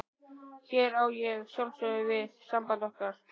Hér á ég að sjálfsögðu við samband okkar.